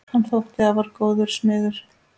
Hann þótti afar góður smiður.